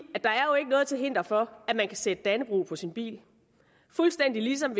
at til hinder for at man kan sætte dannebrog på sin bil fuldstændig ligesom